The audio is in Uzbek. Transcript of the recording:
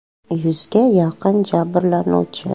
“Yuzga yaqin jabrlanuvchi.